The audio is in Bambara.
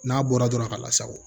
N'a bɔra dɔrɔn a ka lasago